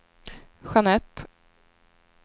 Jeanette